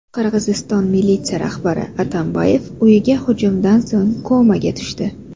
Qirg‘iziston militsiya rahbari Atambayev uyiga hujumdan so‘ng komaga tushdi.